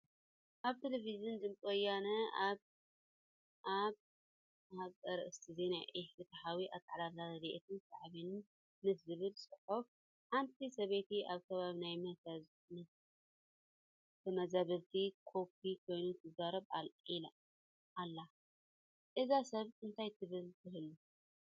ኣብ ቴለብዥን ድምፂ ወያነ ኣብ ኣብ ኣርእስተ ዜና ኢ-ፍትሓዊ ኣተዓዳድላ ረድኤትን ሳዕቤኑን ምስ ዝብል ፅሑፍ ሓንቲ ሰበይቲ ኣብ ከባቢ ናይ ተመዛበልቲ ካምፕ ኮይና ትዛረብ ኣላ፡፡ እዛ ሰብ እንታ ትብል ትህሉ?